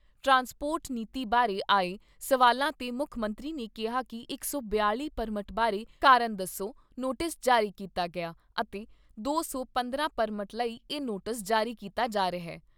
Transport ਨੀਤੀ ਬਾਰੇ ਆਏ ਸਵਾਲਾਂ 'ਤੇ ਮੁੱਖ ਮੰਤਰੀ ਨੇ ਕਿਹਾ ਕਿ ਇਕ ਸੌ ਬਿਆਲ਼ੀ ਪਰਮਟ ਬਾਰੇ ਕਾਰਨ ਦੱਸੋ ਨੋਟਿਸ ਜਾਰੀ ਕੀਤਾ ਗਿਆ ਅਤੇ ਦੋ ਸੌ ਪੰਦਰਾਂ ਪਰਮਟ ਲਈ ਇਹ ਨੋਟਿਸ ਜਾਰੀ ਕੀਤਾ ਜਾ ਰਿਹਾ।